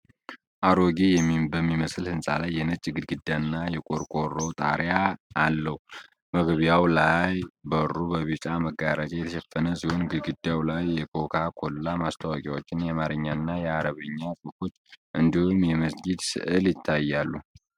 አሮጌ በሚመስል ህንፃ ላይ የነጭ ግድግዳና የቆርቆሮ ጣሪያ ያለው ። መግቢያው ላይ በሩ በቢጫ መጋረጃ የተሸፈነ ሲሆን ግድግዳው ላይ የኮካ ኮላ ማስታወቂያዎችና የአማርኛና የአረብኛ ጽሑፎች እንዲሁም የመስጊድ ስዕል ይታያሉ።